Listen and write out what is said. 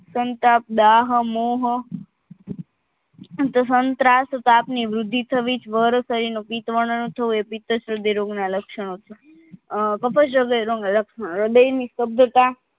સંતાપ દાહ મોહ ત્તાપની વૃદ્ધિ થવી જવર શરીરનો પિત્તવર્ણ થવું એ પિતસવદી રોગના લક્ષણો છે અ હ્રદયરોગી ના લક્ષણો હ્રદયની સુંદધતા